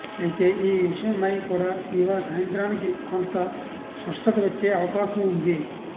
అయితే ఈ విషయమై కూడ ఇవాళ సాయంత్రానికి కొంత స్పష్టత వచ్చే అవకాశం ఉంది